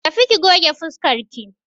Tafi ki goge fuskarki!